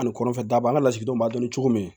Ani kɔnɔfɛ daba an ka lasigidenw b'a la cogo min